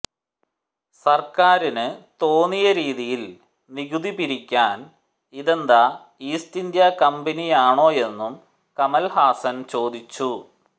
സർക്കാരിന് തോന്നിയ രീതിയിൽ നികുതി പിരിക്കാൻ ഇതെന്താ ഈസ്റ്റ് ഇന്ത്യ കമ്പനിയാണോയെന്നും കമൽഹാസൻ ചോദിച്ചു